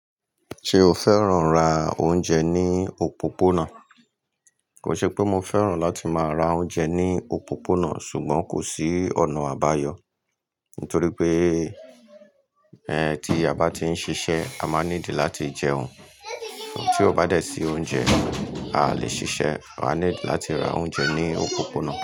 Ṣe o fẹ́ràn rá oúnjẹ ní òpópónà? Ko n ṣe pé mo fẹ́ràn láti máa ra oúnjẹ ní òpópónà, ṣùgbọ́n kò sí ọ̀nà àbáyọ̀. Nítorí pé ẹ tí a bá ti ń ṣiṣẹ́, a máa need láti jẹun. Tí o bá dé sí oúnjẹ, a lè ṣiṣẹ́. A need láti ra oúnjẹ ní òpópónà.